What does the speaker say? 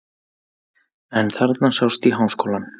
En þarna sást í Háskólann.